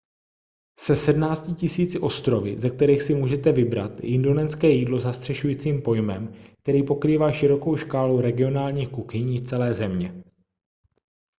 se 17 000 ostrovy ze kterých si můžete vybrat je indonéské jídlo zastřešujícím pojmem který pokrývá širokou škálu regionálních kuchyní z celé země